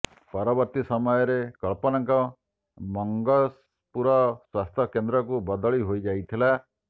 ପରବର୍ତ୍ତୀ ସମୟରେ କଳ୍ପନାଙ୍କ ମଙ୍ଗସପୁର ସ୍ୱାସ୍ଥ୍ୟ କେନ୍ଦ୍ରକୁ ବଦଳି ହୋଇଯାଇଥିଲା